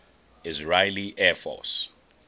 israeli air force